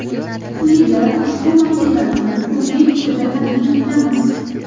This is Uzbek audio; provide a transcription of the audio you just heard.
Quyida ushbu materialni o‘zbek tilida taqdim etamiz.